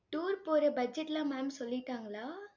tour போற budget லாம் mam சொல்லிட்டாங்களா?